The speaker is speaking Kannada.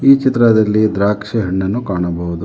ಈ ಚಿತ್ರದಲ್ಲಿ ದ್ರಾಕ್ಷಿ ಹಣ್ಣನ್ನು ಕಾಣಬಹುದು.